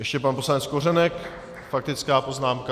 Ještě pan poslanec Kořenek - faktická poznámka.